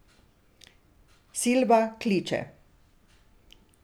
Silba kliče.